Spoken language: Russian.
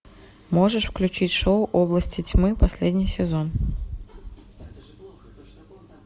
можешь включить шоу области тьмы последний сезон